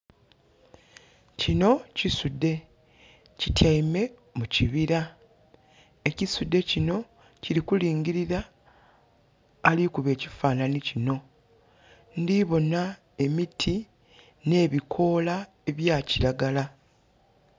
Kinho kisudhe. Kityaime mu kibira. Ekisudhe kinho kili kulingilira ali kuba ekifaanhanhi kinho. Ndhi bona emiti, nh'ebikoola ebya kiragala.